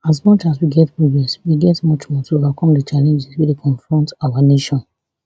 as much as we get progress we get much more to overcome di challenges wey dey confront our nation